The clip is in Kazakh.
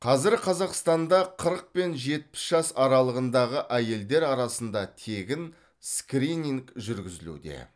қазір қазақстанда қырық пен жетпіс жас аралығындағы әйелдер арасында тегін скрининг жүргізілуде